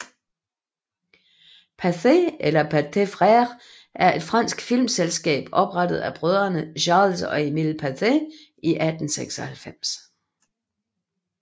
Pathé eller Pathé Frères er et fransk filmselskab oprettet af brødrene Charles og Emile Pathé i 1896